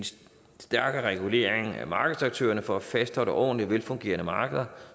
stærkere regulering af markedets aktører for at fastholde ordentlige og velfungerende markeder